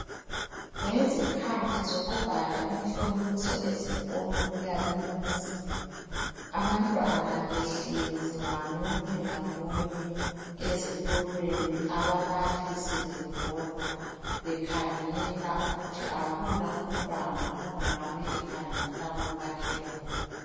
Ngezikhathi zokubhala imhloliso ezikolo kuyabe kunzima. Abantwana behlezi ngamunye ngamunye ezitulweni, ababalisi bebhoda bekhangela ukuthi akula umntwana ongabe ekhangela komakhelwane.